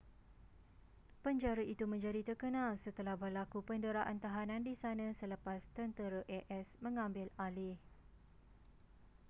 penjara itu menjadi terkenal setelah berlaku penderaan tahanan di sana selepas tentera as mengambil alih